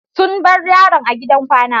Sun bar yaron a gidan kwana.